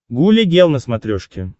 гуля гел на смотрешке